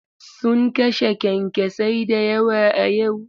Sun kashe kyankyasai da yawa a yau.